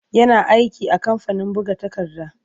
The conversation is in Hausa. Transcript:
Yana aiki a kamfanin buga takarda.